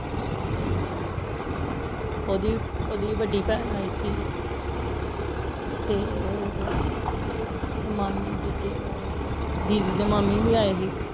ਓਹਦੀ ਓਹਦੀ ਵੱਡੀ ਪੈਣ ਆਇ ਸੀ ਹਾਂਜੀ ਤੇ ਮਾਮੀ ਦੂਜੇ ਆਏ ਹੀ ਦੀਦੀ ਦੇ ਮਾਮੀ ਵੀ ਆਏ ਹੀ